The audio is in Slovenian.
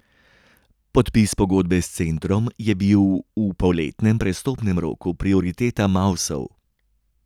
Podpis pogodbe s centrom je bil v poletnem prestopnem roku prioriteta Mavsov.